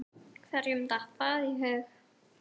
Hverjum datt það í hug?!